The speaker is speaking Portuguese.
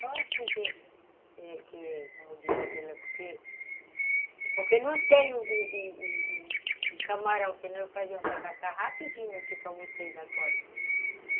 Só assim que, que que como diz aquilo, porque não tem o o camarão, senão eu fazia o tacacá rapidinho aqui para vocês agora.